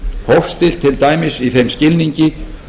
hófstillt til dæmis í þeim skilningi